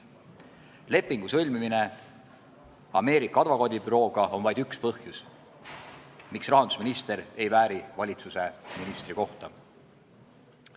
Lepingu sõlmimine Ameerika advokaadibürooga on vaid üks põhjus, miks rahandusminister ei vääri valitsuse ministri kohta.